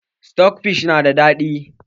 Sitok fish na da daɗi